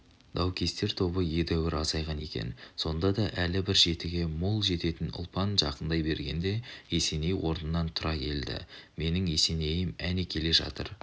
даукестер тобы едәуір азайған екен сонда да әлі бір жетіге мол жететін ұлпан жақындай бергенде есеней орнынан тұра келді менің есенейім әне келе жатыр